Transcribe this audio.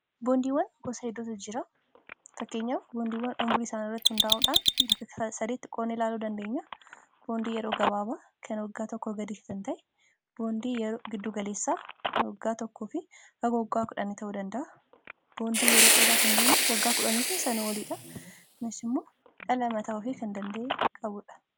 boondiiwwan gosa hedduutu jira fakkeenya boondiiwwan umrii isaanii irratti hundaa'uudhaan bakka 3tti qoodnee ilaaluu dandeenya boondii yeroo gabaaba kan waggaa tokko gadii kan ta'e boondii giddugaleessaa kan waggaa tokko fi haga waggaa 1 ta'uu danda'a boondii yeroo dheeraa kan jeennu waggaa 10fi sana oliidha kunis immoo dhala mataa ofii kan danda'ee qabuudha.